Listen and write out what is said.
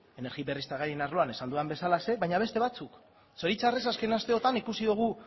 energia berriztagarrien arloan esan dudan bezalaxe baina beste batzuk zoritxarrez azken asteotan ikusi dugu